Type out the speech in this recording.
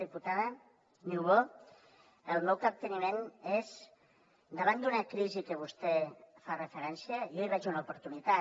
diputada niubó el meu capteniment és davant d’una crisi que vostè hi fa referència jo hi veig una oportunitat